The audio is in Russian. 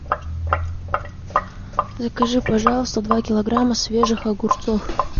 закажи пожалуйста два килограмма свежих огурцов